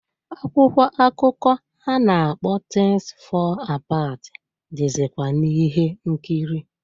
Akwụkwọ akụkọ a na-akpọ "Things Fall Apart" dịzịkwa n'ihe nkiri.